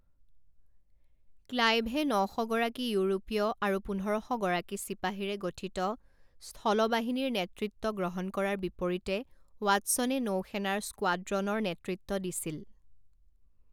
ক্লাইভে ন শ গৰাকী ইউৰোপীয় আৰু পোন্ধৰ শ গৰাকী চিপাহীৰে গঠিত স্থল বাহিনীৰ নেতৃত্ব গ্ৰহণ কৰাৰ বিপৰীতে ৱাটছনে নৌসেনাৰ স্কোৱাড্ৰনৰ নেতৃত্ব দিছিল।